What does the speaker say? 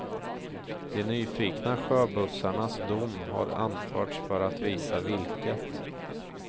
De nyfikna sjöbussarnas dom har anförts för att visa vilket.